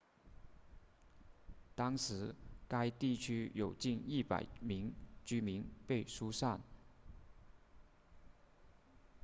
当时该地区有近100名居民被疏散